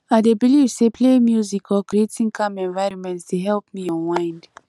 i dey believe say playing music or creating calming environment dey help me unwind